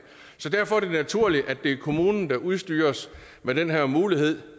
derfor er det naturligt at det er kommunen der udstyres med den her mulighed